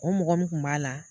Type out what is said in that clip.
O mɔgɔ min tun b'a la